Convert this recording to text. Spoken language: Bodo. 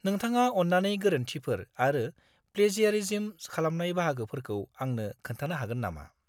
नोंथाङा अन्नानै गोरोन्थिफोर आरो प्लेजियारिज्म खालामनाय बाहागोफोरखौ आंनो खोन्थानो हागोन नामा?